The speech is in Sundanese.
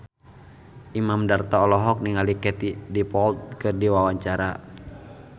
Imam Darto olohok ningali Katie Dippold keur diwawancara